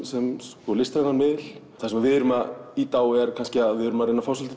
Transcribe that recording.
sem sko listrænan miðil það sem við erum að ýta á er kannski að við erum að reyna að fá